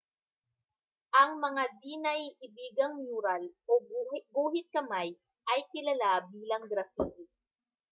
ang mga di-naiibigang mural o guhit-kamay ay kilala bilang graffiti